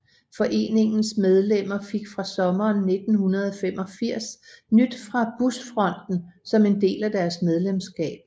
Foreningens medlemmer fik fra sommeren 1985 Nyt fra Busfronten som en del af deres medlemskab